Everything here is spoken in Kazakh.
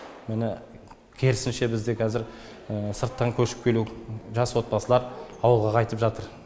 міне керісінше бізде қазір сырттан көшіп келу жас отбасылар ауылға қайтып жатыр